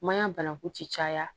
Maɲan banaku ti caya